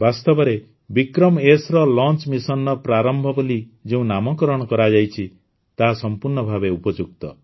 ବାସ୍ତବରେ ବିକ୍ରମଏସ୍ ର ଲଂଚ୍ ମିଶନ୍ର ପ୍ରାରମ୍ଭ ବୋଲି ଯେଉଁ ନାମକରଣ କରାଯାଇଛି ତାହା ସମ୍ପୂର୍ଣ୍ଣ ଭାବେ ଉପଯୁକ୍ତ